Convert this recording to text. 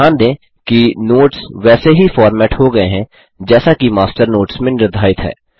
ध्यान दें कि नोट्स वैसे ही फ़ॉर्मेट हो गये हैं जैसा कि मास्टर नोट्स में निर्धारित है